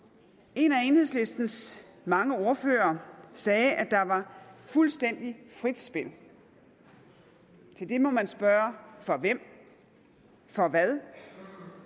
en af enhedslistens mange ordførere sagde at der var fuldstændig frit spil til det må man spørge for hvem for hvad